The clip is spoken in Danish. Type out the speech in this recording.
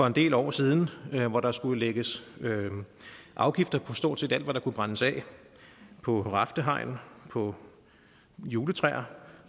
en del år siden hvor der skulle lægges afgifter på stort set alt hvad der kunne brændes af på raftehegn på juletræer